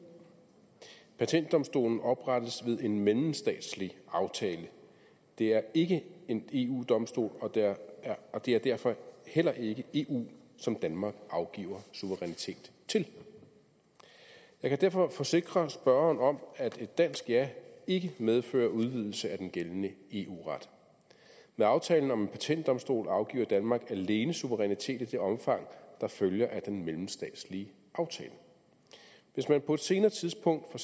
patentdomstolen oprettes ved en mellemstatslig aftale det er ikke en eu domstol og det er det er derfor heller ikke eu som danmark afgiver suverænitet til jeg kan derfor forsikre spørgeren om at et dansk ja ikke medfører udvidelse af den gældende eu ret med aftalen om en patentdomstol afgiver danmark alene suverænitet i det omfang der følger af den mellemstatslige aftale hvis man på et senere tidspunkt